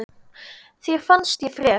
Þér fannst ég frek.